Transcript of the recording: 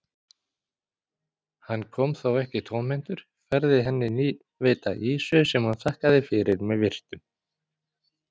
Hann kom þó ekki tómhentur, færði henni nýveidda ýsu sem hún þakkaði fyrir með virktum.